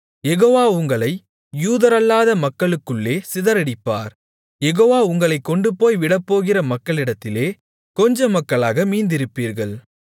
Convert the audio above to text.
யெகோவா உங்களை யூதரல்லாத மக்களுக்குள்ளே சிதறடிப்பார் யெகோவா உங்களைக் கொண்டுபோய் விடப்போகிற மக்களிடத்திலே கொஞ்ச மக்களாக மீந்திருப்பீர்கள்